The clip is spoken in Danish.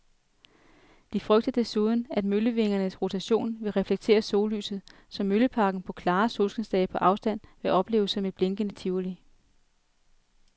De frygter desuden, at møllevingernes rotation vil reflektere sollyset, så mølleparken på klare solskinsdage på afstand vil opleves som et blinkende tivoli.